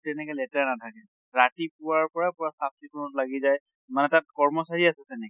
তেনেকে লেতেৰা নাথাকে। ৰাতিপুৱাৰ পৰা পুৰা চাফ চিকূণত লাগি যায়, মানে তাত কৰচাৰী আছে তেনেকে।